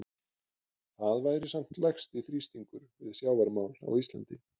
Þetta væri samt lægsti þrýstingur við sjávarmál á Íslandi.